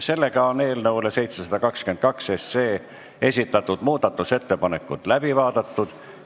Sellega on eelnõu 722 kohta esitatud muudatusettepanekud läbi vaadatud.